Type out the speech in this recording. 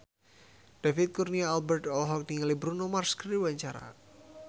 David Kurnia Albert olohok ningali Bruno Mars keur diwawancara